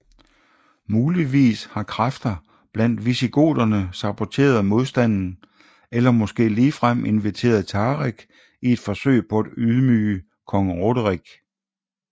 Muligvis har kræfter blandt visigoterne saboteret modstanden eller måske ligefrem inviteret Tariq i et forsøg på at ydmyge kong Roderik